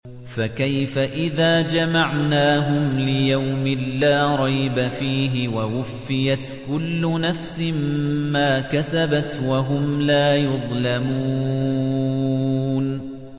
فَكَيْفَ إِذَا جَمَعْنَاهُمْ لِيَوْمٍ لَّا رَيْبَ فِيهِ وَوُفِّيَتْ كُلُّ نَفْسٍ مَّا كَسَبَتْ وَهُمْ لَا يُظْلَمُونَ